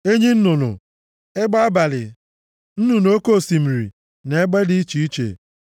enyi nnụnụ, egbe abalị, nnụnụ oke osimiri na egbe dị iche iche,